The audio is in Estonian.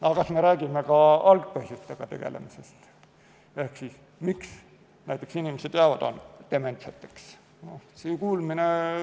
Aga kas me räägime ka algpõhjustega tegelemisest, miks inimesed jäävad dementseks?